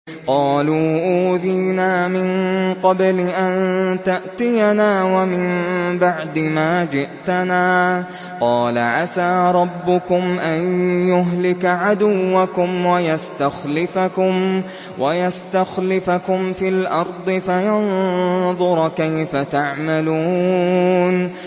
قَالُوا أُوذِينَا مِن قَبْلِ أَن تَأْتِيَنَا وَمِن بَعْدِ مَا جِئْتَنَا ۚ قَالَ عَسَىٰ رَبُّكُمْ أَن يُهْلِكَ عَدُوَّكُمْ وَيَسْتَخْلِفَكُمْ فِي الْأَرْضِ فَيَنظُرَ كَيْفَ تَعْمَلُونَ